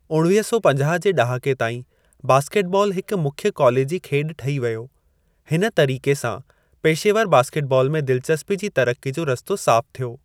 उणवीह सौ पंजाह जे ड॒हाके ताईं, बास्केटबॉल हिकु मुख्य कॉलेजी खेॾु ठही वियो, हिन तरीक़े सां पेशेवर बास्केटबॉल में दिलचस्पी जी तरक़्क़ी जो रस्तो साफ़ु थियो।